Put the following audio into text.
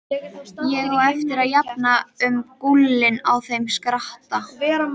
Ég á eftir að jafna um gúlinn á þeim skratta!